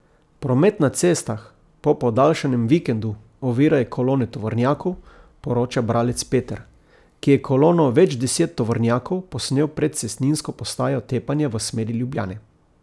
Promet na cestah po podaljšanem vikendu ovirajo kolone tovornjakov, poroča bralec Peter, ki je kolono več deset tovornjakov posnel pred cestninsko postajo Tepanje v smeri Ljubljane.